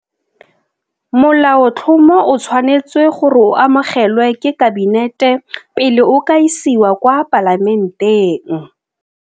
Molaotlhomo o tshwanetswe gore o amogelwe ke Kabinete pele o ka isiwa kwa Palamenteng.